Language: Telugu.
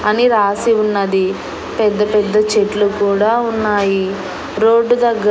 అని రాసి ఉన్నది పెద్ద పెద్ద చెట్లు కూడా ఉన్నాయి రోడ్డు దగ్గ--